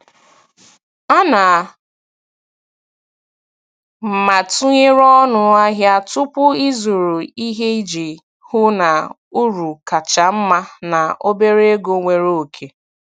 Ana m atụnyere ọnụ ahịa tupu ịzụrụ ihe iji hụ na uru kacha mma na obere ego nwere oke.